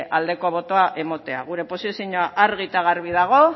aldeko botoa emotea gure posizioa argi eta garbi dago